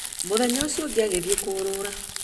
Mũthenya ũcio ũngĩ agĩthiĩ kũrũra